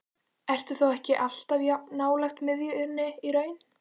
Eru þá ekki allir jafn nálægt miðjunni í raun?